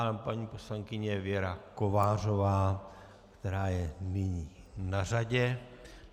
A paní poslankyně Věra Kovářová, která je nyní na řadě.